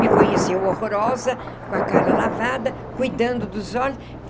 Me conheceu horrorosa, com a cara lavada, cuidando dos olhos.